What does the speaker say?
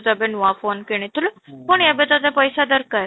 ତୁ ଏବେ ନୂଆ phone କିଣିଥିଲୁ ପୁଣି ଏବେ ତୋତେ ପଇସା ଦରକାର